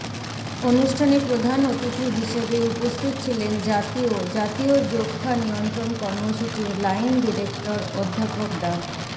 অনুষ্ঠানে প্রধান অতিথি হিসেবে উপস্থিত ছিলেন জাতীয় জাতীয় যক্ষ্মা নিয়ন্ত্রণ কর্মসূচির লাইন ডিরেক্টর অধ্যাপক ডা